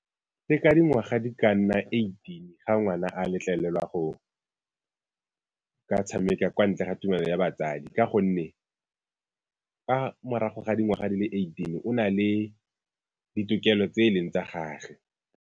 Ke ka dingwaga di ka nna eighteen ga ngwana a letlelelwa go ka tshameka kwa ntle ga tumelo ya batsadi ka gonne ka morago ga dingwaga di le eighteen o na le ditokelo tse e leng tsa gagwe.